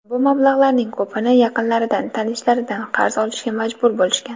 Bu mablag‘larning ko‘pini yaqinlaridan, tanishlaridan qarz olishga majbur bo‘lishgan.